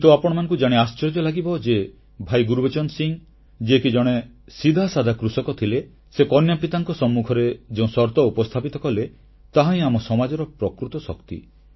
କିନ୍ତୁ ଆପଣମାନଙ୍କୁ ଜାଣି ଆଶ୍ଚର୍ଯ୍ୟ ଲାଗିବ ଯେ ଭାଇ ଗୁରବଚନ ସିଂହ ଯିଏକି ଜଣେ ସିଧାସାଧା କୃଷକ ଥିଲେ ସେ କନ୍ୟା ପିତାଙ୍କ ସମ୍ମୁଖରେ ଯେଉଁ ସର୍ତ୍ତ ଉପସ୍ଥାପିତ କଲେ ତାହାହିଁ ଆମ ସମାଜର ପ୍ରକୃତ ଶକ୍ତି